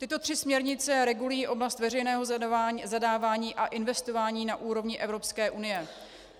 Tyto tři směrnice regulují oblast veřejného zadávání a investování na úrovni Evropské unie.